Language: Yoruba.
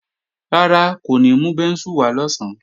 Rárá, kò ní mú bẹ́ńsù wá lọ̀sán